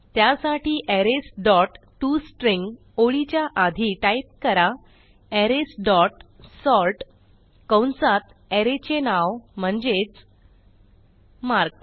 त्यासाठी arrays dot to string ओळीच्या आधी टाईप करा अरेज डॉट सॉर्ट कंसात अरे चे नाव म्हणजेच मार्क्स